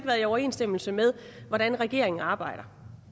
været i overensstemmelse med hvordan regeringen arbejder